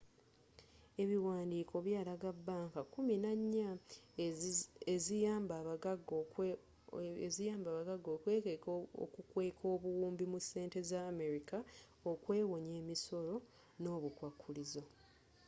ebiwandiiko byalaga banka kkumi nannya eziyamba abaggaga okukweka obuwumbi mu sente za america okwewonya emisolo ne obukwakulizo